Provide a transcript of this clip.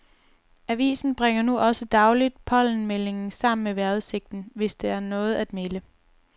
Avisen bringer nu også dagligt pollenmeldingen sammen med vejrudsigten, hvis der er noget at melde.